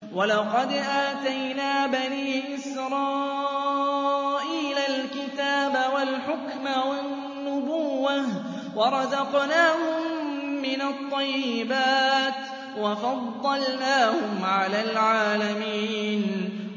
وَلَقَدْ آتَيْنَا بَنِي إِسْرَائِيلَ الْكِتَابَ وَالْحُكْمَ وَالنُّبُوَّةَ وَرَزَقْنَاهُم مِّنَ الطَّيِّبَاتِ وَفَضَّلْنَاهُمْ عَلَى الْعَالَمِينَ